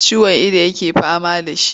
Ciwon ido yake fama da shi.